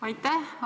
Aitäh!